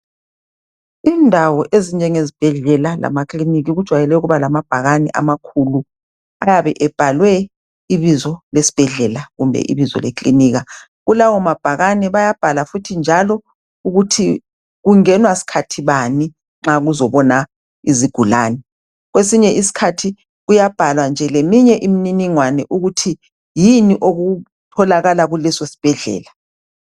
indawo ezinjengezibhela lamakilinikhi kujwayele ukuba lamabhakane amakhulu ayabe ebhalwe ibizo lesibhedlela kumbe ibizo likilinika kulawo mabhakane bayabhala futhi njalo ukuthi kungenwa sikhathi bani nxa kuzobonwa izigulane kwesinye isikhathi kuyabhalwa nje leminye imininingwano ukuthi yini okutholakala kuleso sibhedlela